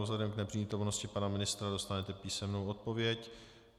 Vzhledem k nepřítomnosti pana ministra dostanete písemnou odpověď.